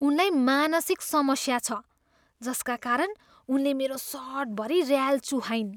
उनलाई मानसिक समस्या छ जसका कारण उनले मेरो सर्टभरि ऱ्याल चुहाइन्।